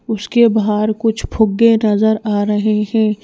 उसके बाहर कुछ फुग्गे नजर आ रहे हैं।